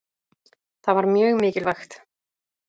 Það var mjög mikilvægt.